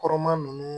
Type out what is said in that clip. Kɔrɔma nunnu